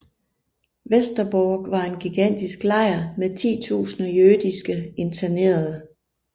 Westerbork var en gigantisk lejr med titusinder jødiske internerede